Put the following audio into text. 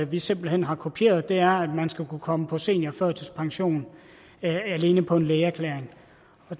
vi simpelt hen har kopieret er at man skal kunne komme på seniorførtidspension alene på en lægeerklæring